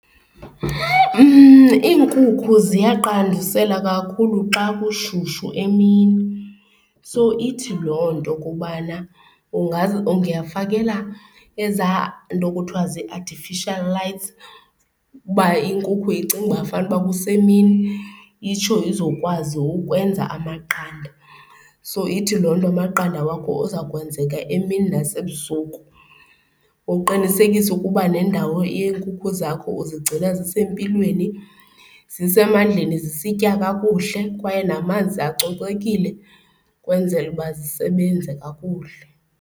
Iinkukhu ziyaqandusela kakhulu xa kushushu emini so ithi loo nto ukubana ungafakela ezaa nto kuthiwa zii-artificial uba inkukhu icinge uba fanuba kusemini itsho izokwazi ukwenza amaqanda. So ithi loo nto amaqanda wakho aza kwenzeka emini nasebusuku. Uqinisekise ukuba nendawo yeenkukhu zakho uzigcina zisempilweni, zisemandleni, zisitya kakuhle kwaye namanzi acocekile ukwenzela uba zisebenze kakuhle.